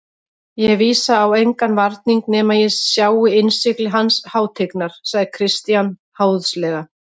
Ég vísa á engan varning nema ég sjái innsigli hans hátignar, sagði Christian háðslega.